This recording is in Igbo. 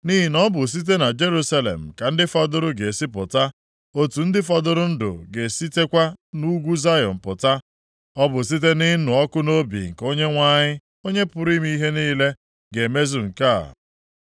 Nʼihi na ọ bụ site na Jerusalem ka ndị fọdụrụ ga-esi pụta, otu ndị fọdụrụ ndụ + 37:32 Gbapụrụ a gbapụ maka ụjọ ga-esitekwa nʼugwu Zayọn pụta. Ọ bụ site nʼịnụ ọkụ nʼobi nke Onyenwe anyị, Onye pụrụ ime ihe niile, ga-emezu nke a.